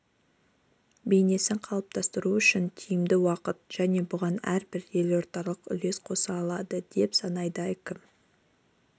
бейнесін қалыптастыру үшін тиімді уақыт және бұған әрбір елордалық үлес қоса алады деп санайды әкім